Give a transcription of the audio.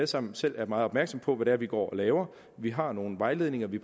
sammen selv meget opmærksomme på hvad det er vi går og laver vi har nogle vejledninger vi